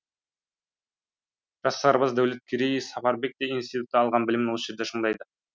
жас сарбаз дәулеткерей сапарбек те институтта алған білімін осы жерде шыңдайды